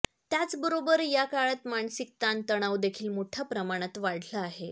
त्याचबरोबर या काळात मानसिक ताणतणावदेखील मोठ्या प्रमाणात वाढला आहे